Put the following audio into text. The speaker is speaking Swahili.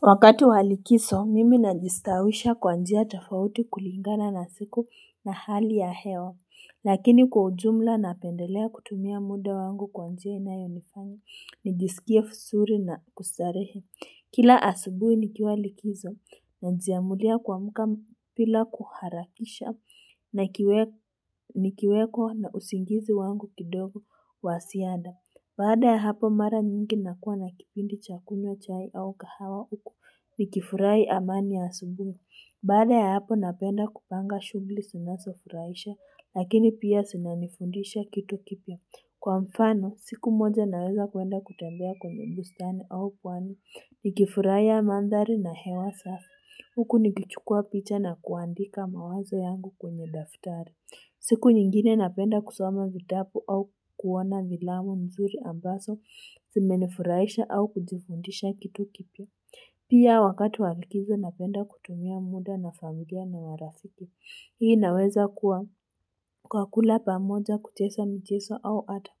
Wakati wa likizo mimi najistawisha kwa njia tofauti kulingana na siku na hali ya hewa lakini kwa ujumla napendelea kutumia muda wangu kwa njia inayo nifanya nijisikie vizuri na kustarehe kila asubuhi nikiwa likizo najiamulia kuamka. Bila kuharakisha nikiweko na usingizi wangu kidogo wa zaida Baada ya hapo mara mingi nakuwa na kipindi chakunywa chai au kahawa huku, nikifurahi amani ya asubuhi Baada ya hapo napenda kupanga shughuli zinazonifuraisha, lakini pia zinanifundisha kitu kipya Kwa mfano, siku moja naweza kuenda kutembea kwenye bustani au pwani, nikifurahia mandhari na hewa safi. Huku nikichukua picha na kuandika mawazo yangu kwenye daftari. Siku nyingine napenda kusoma vitabu au kuona filamu nzuri ambazo zimenifurahisha au kujifundisha kitu kipya. Pia wakati wa likizo napenda kutumia muda na familia na marafiki. Hii naweza kuwa kwa kula pamoja kucheza mchezo au hata